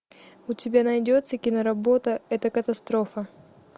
у тебя найдется киноработа это катастрофа